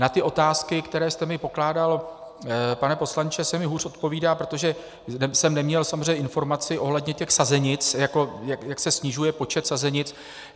Na ty otázky, které jste mi pokládal, pane poslanče, se mi hůř odpovídá, protože jsem neměl samozřejmě informaci ohledně těch sazenic, jak se snižuje počet sazenic.